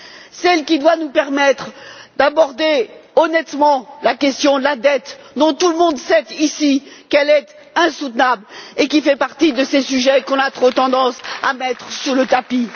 C'est elle qui doit nous permettre d'aborder honnêtement la question de la dette, dont tout le monde sait ici qu'elle est intenable et qui fait partie de ces sujets qu'on a trop tendance à mettre sous le tapis.